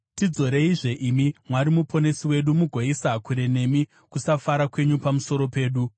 Tidzoreizve, imi Mwari Muponesi wedu, mugoisa kure nemi kusafara kwenyu pamusoro pedu.